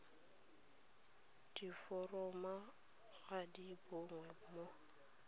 diforomo ga di bonwe mo